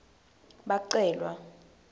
bacelwa